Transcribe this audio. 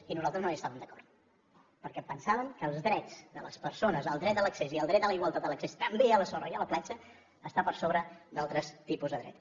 i nosaltres no hi estàvem d’acord perquè pensàvem que els drets de les persones el dret a l’accés i el dret a la igualtat a l’accés també a la sorra i a la platja està per sobre d’altres tipus de dret